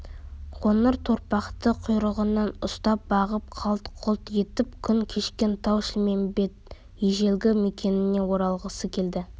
қоңыр торпақты құйрығынан ұстап бағып қалт-құлт етіп күн кешкен тау-шілмембет ежелгі мекеніне оралғысы келеді